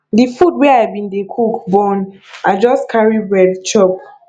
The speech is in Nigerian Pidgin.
di food wey i bin dey cook burn i just carry bread chop